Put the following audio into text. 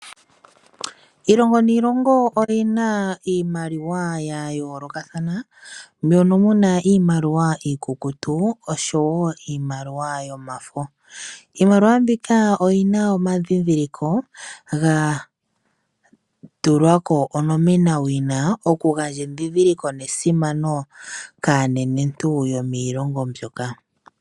Iilongo niilongo oyina iimaliwa yayoolokathana, mono muna iimaliwa iikukutu noshowo iimaliwa yomafo. Iimaliwa oyina omadhidhiliko gatulwa ko onomena wina, okugandja edhidhiliko nesimano kaanenentu yomiilongo mbyoka.